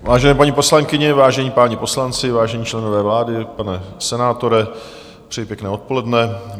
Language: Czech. Vážené paní poslankyně, vážení páni poslanci vážení členové vlády, pane senátore, přeji pěkné odpoledne.